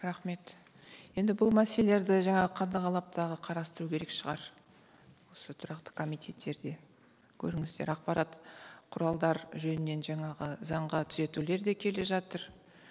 рахмет енді бұл мәселелерді жаңа қадағалап тағы қарастыру керек шығар осы тұрақты комитеттерде көріңіздер ақпарат құралдар жөнінен жаңағы заңға түзетулер де келе жатыр